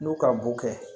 N'u ka mun kɛ